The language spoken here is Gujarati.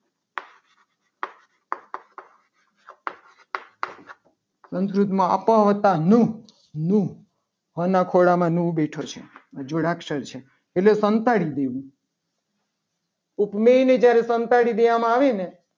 સંસ્કૃત માં અપ્ર્વતા નું નું એના ખોલા માં નું થશે. આ જોડાક્ષાર છે. એટલે સંતાડી દીધું. ઉપમેય ને જયારે સંતાડી દેવામાં આવે ને